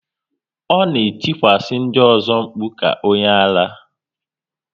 Ọ na etikwasa ndị ọzọ mkpu ka onye ara